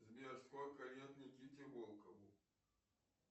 сбер сколько лет никите волкову